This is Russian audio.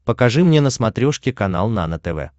покажи мне на смотрешке канал нано тв